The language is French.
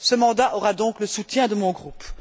Ce mandat aura donc le soutien de mon groupe.